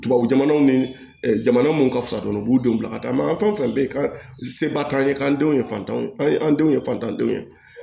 Tubabu jamanaw ni ɛ jamana minnu ka fisa dɔrɔn u b'u den bila ka taa ma an ka fɛn o fɛn bɛ yen ka seba t'an ye k'an denw ye fantanw ye an ye an denw ye fantanw ye